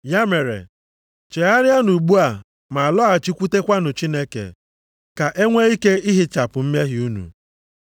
Ya mere, chegharịanụ ugbu a ma lọghachikwutekwanụ Chineke, ka e nwee ike ihichapụ mmehie unu,